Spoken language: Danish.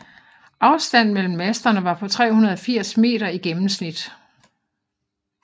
Afstand mellem masterne var på 380 m i gennemsnit